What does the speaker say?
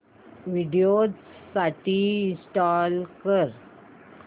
Windows साठी install कर